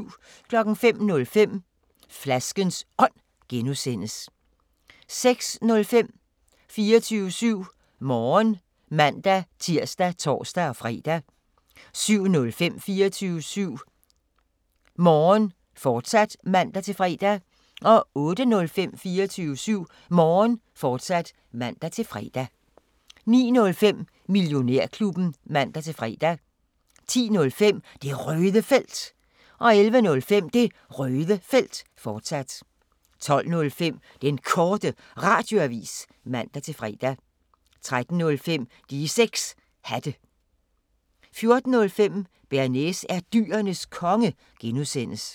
05:05: Flaskens Ånd (G) 06:05: 24syv Morgen (man-tir og tor-fre) 07:05: 24syv Morgen, fortsat (man-fre) 08:05: 24syv Morgen, fortsat (man-fre) 09:05: Millionærklubben (man-fre) 10:05: Det Røde Felt 11:05: Det Røde Felt, fortsat 12:05: Den Korte Radioavis (man-fre) 13:05: De 6 Hatte 14:05: Bearnaise er Dyrenes Konge (G)